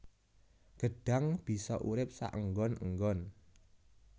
Gêdhang bisa urip saênggon ênggon